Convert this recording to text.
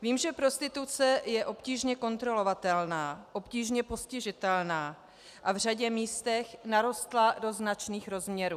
Vím, že prostituce je obtížně kontrolovatelná, obtížně postižitelná a v řadě místech narostla do značných rozměrů.